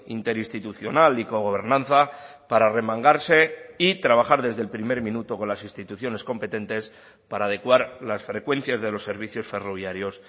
interinstitucional y cogobernanza para remangarse y trabajar desde el primer minuto con las instituciones competentes para adecuar las frecuencias de los servicios ferroviarios